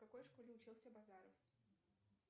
в какой школе учился базаров